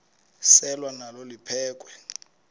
selwa nalo liphekhwe